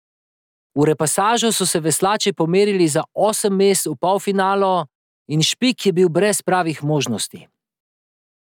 V repasažu so se veslači pomerili za osem mest v polfinalu in Špik je bil brez pravih možnosti.